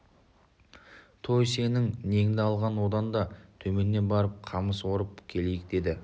той сенің неңді алған одан да төменнен барып қамыс орып келейік деді